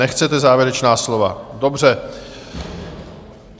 Nechcete závěrečná slova, dobře.